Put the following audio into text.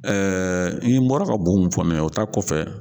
i n'i bɔra ka bu min fɔ nin ye o ta kɔfɛ.